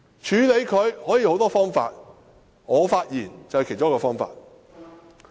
處理他可以有很多方法，發言是其中一個方法。